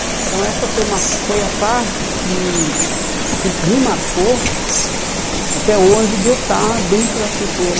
Então essa foi uma foi a parte que que me marcou até hoje de eu estar dentro da cultura